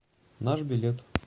наш билет